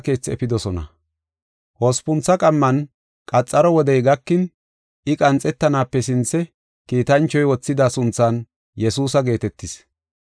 Hospuntha qamman, qaxaro wodey gakin, I qanthatanaape sinthe kiitanchoy wothida sunthan Yesuusa geetetis.